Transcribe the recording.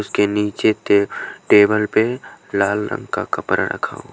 उसके नीचे टेबल पे लाल रंग का कपड़ा रखा हुआ--